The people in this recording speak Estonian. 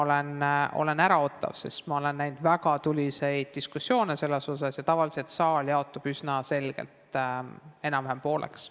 Ma olen äraootav, sest ma olen näinud väga tuliseid diskussioone selle üle ja tavaliselt jaotub saal üsna selgelt pooleks.